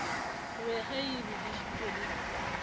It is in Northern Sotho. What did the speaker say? be ge e bedišitšwe le